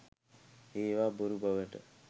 ඒවා බොරු බවට